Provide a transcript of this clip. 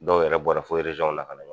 Dɔw yɛrɛ bɔra fo na ka na.